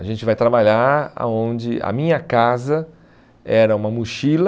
A gente vai trabalhar aonde a minha casa era uma mochila